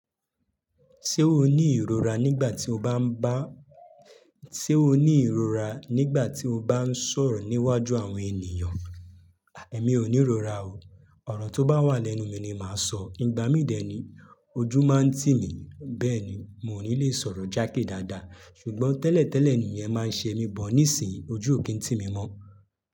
Ṣé o ní ìrora nígbà tí o bá ń bá, ṣe o ní ìrora nígbà tí o bá ń sọ̀rọ̀ níwájú àwọn ènìyàn? Èmi ò ní ìrora o. Ọ̀rọ̀ tó bá wà lẹ́nu mi ni màá sọ. Igba mi dè ni, ojú máa ń tì mí, bẹ́ẹ̀ ni, n ò ní le sọ̀rọ̀ jákè dáadáa. Ṣùgbọ́n tẹ́lẹ̀tẹ́lẹ̀ nìyẹn máa ń ṣe mí but, nísìín, ojú ò kín tì mí mọ́.